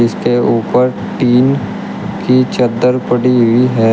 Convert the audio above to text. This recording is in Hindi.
इसके ऊपर टीन की चद्दर पड़ी हुई है।